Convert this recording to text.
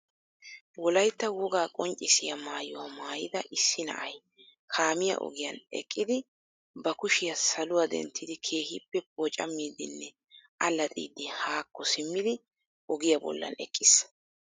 Wolaytta woga qonccissiya maayuwa mayida issi na"aay kaammiyaa ogiyan eqqiddi ba kuushshiyaa saluwaa dentiddi kehippee pocaammiiddinnee allaaxiyddi haakoo simiddi agiya bollaan eqqiiss